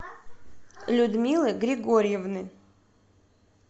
людмилы григорьевны